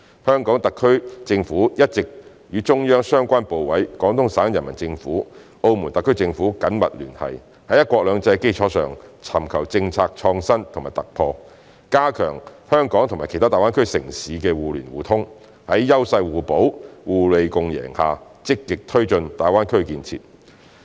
香港特區政府一直與中央相關部委、廣東省人民政府、澳門特區政府緊密聯繫，在"一國兩制"的基礎上，尋求政策創新和突破，加強香港與其他大灣區城市的互聯互通，在優勢互補、互利共贏下積極推進大灣區建設。